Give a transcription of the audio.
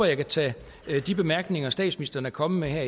jeg kan tage de bemærkninger statsministeren er kommet med her